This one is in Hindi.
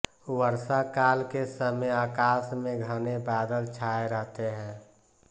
वर्षाकाल के समय आकाश में घने बादल छाये रहते हैं